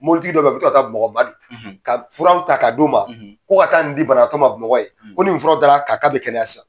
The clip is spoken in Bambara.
Mobili tigi dɔ bɛ a bɛ to ka taa Bamakɔ Madu ka furaw ta k'a di o ma ko ka taa nin di banabagatɔ ma Bamakɔ ye ko nin ni furaw da l'a kan a bɛ kɛnɛya.